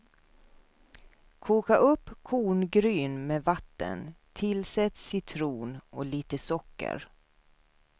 Koka upp korngryn med vatten, tillsätt citron och lite socker.